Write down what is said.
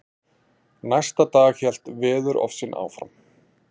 Næsta dag hélt veðurofsinn áfram.